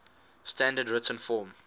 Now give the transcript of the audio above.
standard written form